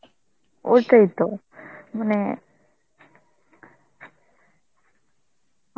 ওটাই তো, মানে